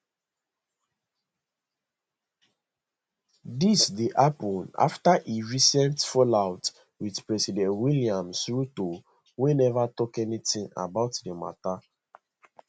dis dey happun afta e recent fallout with president william ruto wey never tok anything about di matter